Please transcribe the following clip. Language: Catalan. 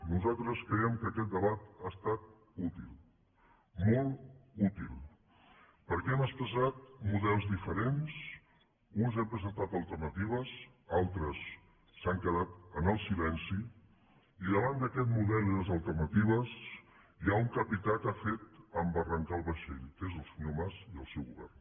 nosaltres creiem que aquest debat ha estat útil molt útil perquè hem expressat models diferents uns hem presentat alternatives altres s’han quedat en el silenci i davant d’aquest model i les alternatives hi ha un capità que ha fet embarrancar el vaixell que és el senyor mas i el seu govern